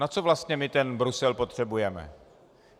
Na co vlastně my ten Brusel potřebujeme?